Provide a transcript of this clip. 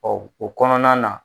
o kɔnɔna na.